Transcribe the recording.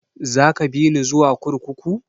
Za ka bini zuwa kurkuku?